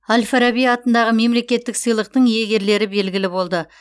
әл фараби атындағы мемлекеттік сыйлықтың иегерлері белгілі болды